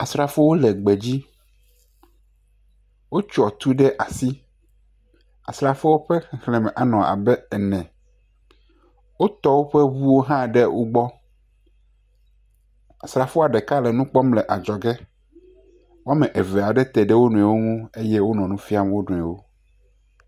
Asrafowo le gbe dzi. Wotsɔ tu ɖe asi. Asrafoawo ƒe xexle me anɔ abe ame ene. Wotɔ woƒe ŋuwo hã ɖe wogbɔ. Asrafoa ɖeka nɔ nukpɔm le adzɔ ge, wo ame aɖewo teɖe wo nɔewo ŋu eye wonɔ nufia wo nɔewo.